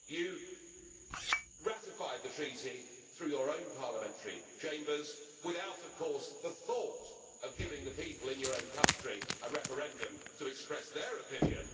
You ratified the Treaty through your own parliamentary chambers, without of course the thought of giving the people in your own country a referendum to express their opinion.